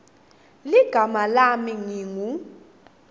ligama lami ngingu